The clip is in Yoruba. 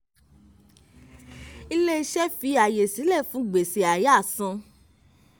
ilé-iṣẹ́ fi ààyè sílẹ̀ fún gbèsè àyáàsan.